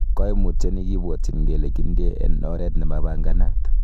Koimutioni kibwotyin kele kindie en oret nemapanganat.